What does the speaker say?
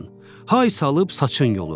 Hay salıb saçın yolurdu.